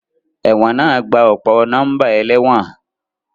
Ẹ̀wọ̀n náà gba ọ̀pọ̀ nọ́mbà ẹlẹ́wọ̀n